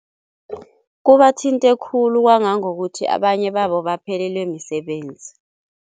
Kubathinte khulu kwangangokuthi abanye babo baphelelwe misebenzi.